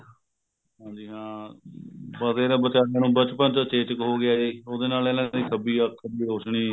ਹਾਂਜੀ ਹਾਂ ਅਹ ਪਰ ਦੇਖਲੋ ਵਿਚਾਰੇ ਨੂੰ ਬਚਪਨ ਚ ਚੇਚਕ ਹੋ ਗਿਆ ਇਹ ਉਹਦੇ ਨਾਲ ਇਹਦੀ ਖੱਬੀ ਅੱਖ ਦੀ ਰੋਸ਼ਨੀ